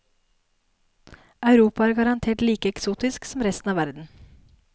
Europa er garantert like eksotisk som resten av verden.